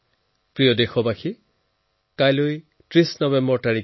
মোৰ প্ৰিয় দেশবাসী কাইলৈ ৩০ নৱেম্বৰ